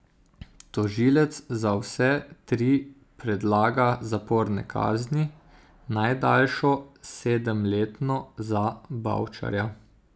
Tožilec za vse tri predlaga zaporne kazni, najdaljšo, sedemletno za Bavčarja.